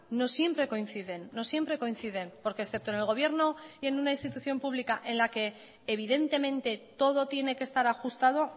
no siempre coinciden porque excepto en el gobierno y en una institución pública en la que evidentemente todo tiene que estar ajustado